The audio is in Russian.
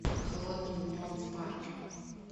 холодным днем в парке